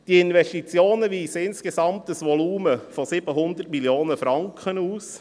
Diese Investitionen weisen insgesamt ein Volumen von 700 Mio. Franken auf.